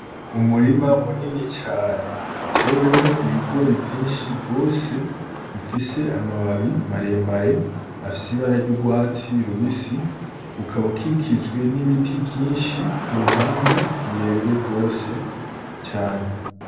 Umurima munini cane utewemwo ibigori vyinshi gose bifise amababi maremare afis'ibara ry'urwatsi rubisi ukaba ukikijwe n'ibiti vyinshi kuruhande birebire gose cane.